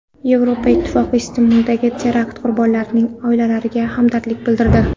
Yevropa Ittifoqi Istanbuldagi terakt qurbonlarining oilalariga hamdardlik bildirdi.